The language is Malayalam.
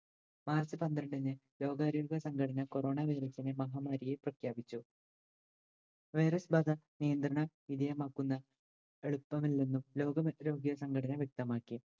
മാർച്ച് പന്ത്രണ്ടിന് രോഗാരോഗ്യ സംഘടന corona virus നെ മഹാമാരിയായ് പ്രഖ്യാപിച്ചു virus ബാധ നിയന്ത്രണ വിധേയമാക്കുന്ന എളുപ്പമല്ലെന്നും ലോക മ രോഗ്യ സംഘടന വ്യക്തമാക്കി.